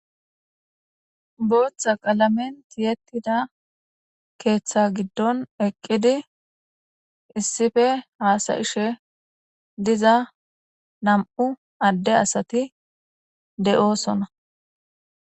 Botha qalamen tiyetida ketha gidon eqidi issipe hasa'ishe diza nam'u ade asati de'osona.